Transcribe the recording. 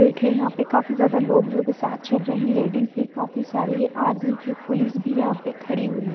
बैठे यहाँ पे काफी ज्यादा लोग जो के साथ चल रहे हैं लेडीज भी काफी सारी है आर्मी की पुलिस भी यहाँ पे खड़ी हुई है।